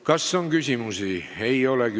Kas on küsimusi?